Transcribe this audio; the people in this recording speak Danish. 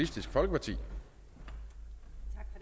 tak til